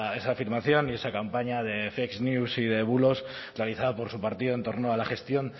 esa afirmación y esa campaña de y de bulos realizada por su partido en torno a la gestión